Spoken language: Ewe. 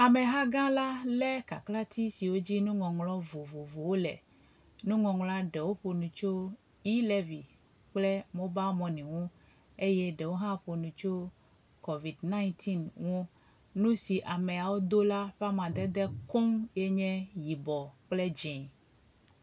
Ameha gã la le kaklatsi si dzi nuŋɔŋlɔ vovovowo le. Nuŋɔŋlɔ ɖewo ƒo nu tso eɔ̃levy kple mobal mɔni ŋu eye ɖewo hã ƒo nu tso covid ɛɣ ŋu. Nu si ameawo do la ƒe amadede koŋ nye yibɔ kple dzi.